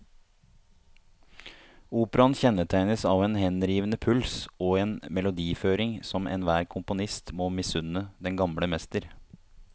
Operaen kjennetegnes av en henrivende puls og en melodiføring som enhver komponist må misunne den gamle mester.